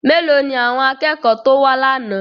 Mélòó ni àwọn akẹ́kọ̀ọ́ tó wá lánàá?